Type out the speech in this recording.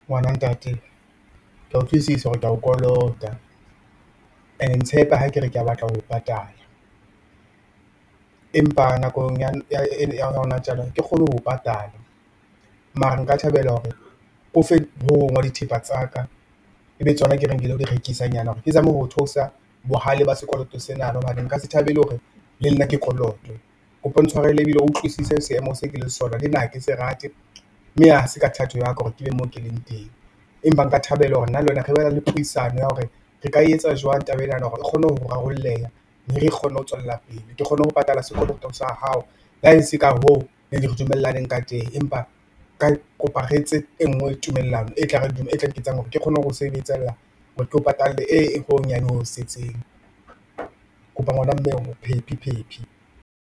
Ngwana ntate, kea utlwisisa hore kea o kolota and-e ntshepe ha ke re ke batla ho o patala, empa nakong ya hona tjena ha ke kgone ho o patala mara nka thabela hore ke o fe ho hong hwa dithepa tsa ka ebe tsona ke reng kelo direkisanyana hore ke zame ho theosa bohale ba sekoloto senana hobane nka se thabele hore le nna ke kolotwe. Kopa o ntshwarele ibile o utlwisise seemo se kileng ho sona le nna hake se rate mme ha se ka thato ya ka hore ke be mo ke leng teng empa nka thabela hore nna le wena re bane le puisano ya hore, re ka etsa jwang taba enana hore re kgone ho rarolleha, mme re kgone ho tswella pele ke kgone ho patala sekoloto sa hao, le ha e se ka hoo neng re dumellaneng ka teng empa kopa re etse engwe tumellano e tlare e tla nketsang hore ke kgone ho sebetsella hore keo patale e ho honyane ho setseng. Kopa ngwana mme phephi, phephi.